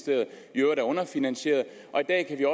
i øvrigt er underfinansieret og i dag kan